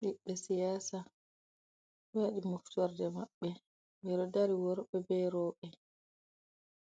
Ɓebbe siyasa do wadi moftorde mabbe be do dari worbe berobe